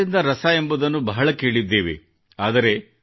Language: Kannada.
ನಾವು ಕಸದಿಂದ ರಸ ಎಂಬುದನ್ನು ಬಹಳ ಕೇಳಿದ್ದೇವೆ